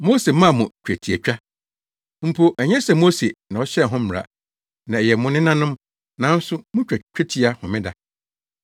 Mose maa mo twetiatwa (mpo ɛnyɛ sɛ Mose na ɔhyɛɛ ho mmara na ɛyɛ mo nenanom) nanso, mutwa twetia homeda.